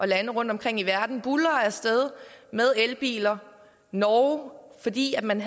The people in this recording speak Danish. lande rundtomkring i verden buldrer af sted med elbiler norge fordi man